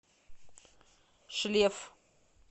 шлеф